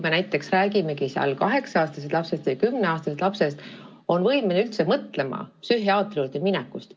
Ma julgen kahelda ka selles, et näiteks kaheksa- või kümneaastane laps on võimeline üldse mõtlema psühhiaatri juurde minekust.